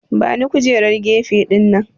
Bani kujerar gefe dinnan!